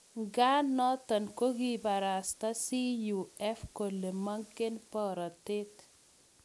Ngaa notok, kokiibarasta CUF kole mengen borotet.